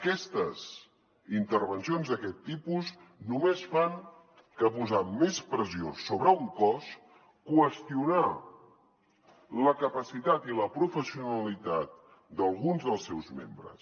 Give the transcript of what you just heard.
aquestes intervencions d’aquest tipus només fan que posar més pressió sobre un cos qüestionar la capacitat i la professionalitat d’alguns dels seus membres